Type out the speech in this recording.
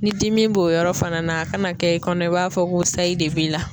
Ni dimi b'o yɔrɔ fana na, a kana kɛ i kɔnɔ i b'a fɔ ko sayi de b'i la.